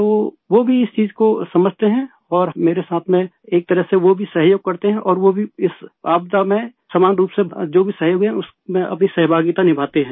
तो वो भी इस चीज को समझते हैं और मेरे साथ में एक तरह से वो भी सहयोग करते हैं और वो भी इस आपदा में समान रूप से जो भी सहयोग है उसमें अपनी सहभागिता निभाते हैं